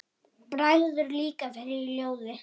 Bregður líka fyrir í ljóði.